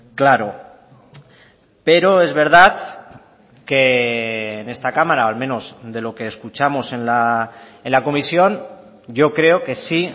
claro pero es verdad que en esta cámara o al menos de lo que escuchamos en la comisión yo creo que sí